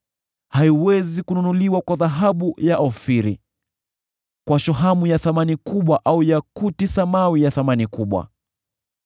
Haiwezi kununuliwa kwa dhahabu ya Ofiri, kwa shohamu ya thamani kubwa au yakuti samawi ya thamani kubwa.